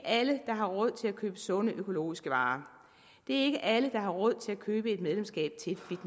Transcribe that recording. alle der har råd til at købe sunde økologiske varer det er ikke alle der har råd til at købe et medlemskab